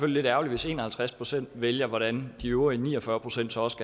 lidt ærgerligt hvis en og halvtreds procent vælger hvordan de øvrige ni og fyrre procent så også